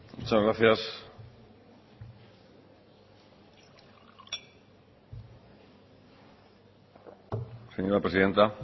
muchas gracias señora presidenta